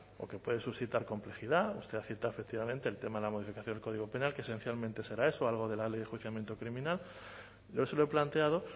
porque puede suscitar complejidad usted ha citado efectivamente el tema de la modificación del código penal que esencialmente será eso algo de la ley de enjuiciamiento criminal yo se lo he planteado